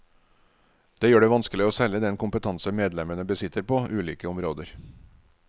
Det gjør det vanskelig å selge den kompetanse medlemmene besitter på ulike områder.